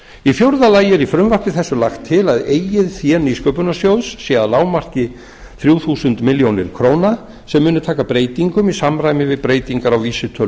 í fjórða lagi er í frumvarpi þessu er lagt til að eigið fé nýsköpunarsjóðs sé að lágmarki þrjú þúsund milljónir króna sem muni taka breytingum í samræmi við breytingar á vísitölu